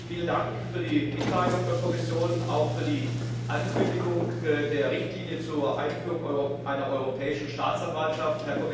Vielen Dank für die Mitteilung der Kommission, auch für die Ankündigung der Richtlinie zur Einführung einer Europäischen Staatsanwaltschaft.